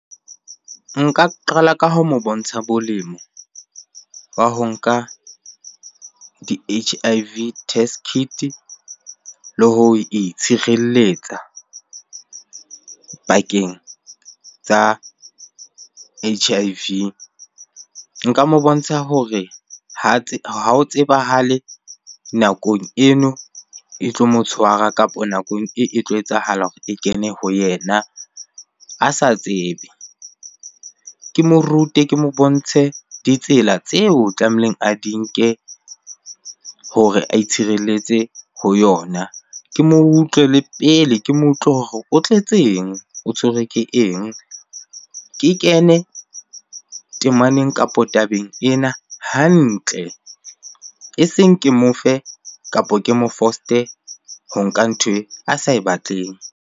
Nka qala ka ho mo bontsha bolemo wa ba ho nka di-H_I_V test kit le ho itshireletsa pakeng tsa H_I_V. Nka mo bontsha hore ha ho tsebahale nakong eno e tlo mo tshwara kapa nakong e tlo etsahala hore e kene ho yena a sa tsebe. Ke mo rute, ke mo bontshe ditsela tseo tlamehileng a di nke hore a itshireletse ho yona. Ke mo utlwe le pele, ke mo utlwe hore o tletseng? O tshwerwe ke eng? Ke kene temaneng kapo tabeng ena hantle, eseng ke mo fe kapo ke mo foste ho nka nthwe a sa e batleng.